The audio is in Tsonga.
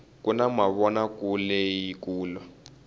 kuna mavonakuleleyi kulu